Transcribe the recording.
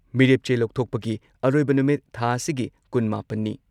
ꯃꯤꯔꯦꯞ ꯆꯦ ꯂꯧꯊꯣꯛꯄꯒꯤ ꯑꯔꯣꯏꯕ ꯅꯨꯃꯤꯠ ꯊꯥ ꯑꯁꯤꯒꯤ ꯀꯨꯟ ꯃꯥꯄꯟꯅꯤ ꯅꯤ ꯫